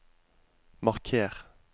marker